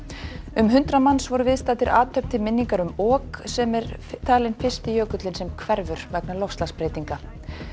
um hundrað manns voru viðstaddir athöfn til minningar um ok sem er talinn fyrsti jökulinn sem hverfur vegna loftslagsbreytinga